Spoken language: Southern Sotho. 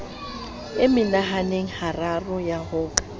mehananeng hararo ya ho ka